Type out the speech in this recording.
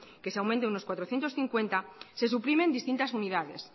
que se aumente unos cuatrocientos cincuenta se suprimen distintas unidades